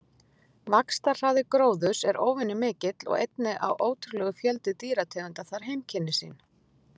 Vaxtarhraði gróðurs er óvenju mikill og einnig á ótrúlegur fjöldi dýrategunda þar heimkynni sín.